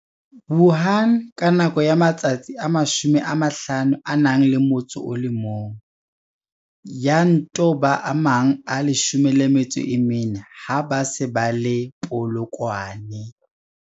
Wuhan ka nako ya matsatsi a 51, ya nto ba a mang a 14 ha ba se ba le Polokwane.